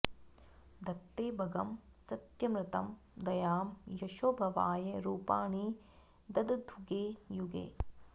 धत्ते भगं सत्यमृतं दयां यशो भवाय रूपाणि दधद्युगे युगे